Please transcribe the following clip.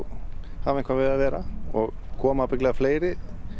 hafa eitthvað við að vera koma fleiri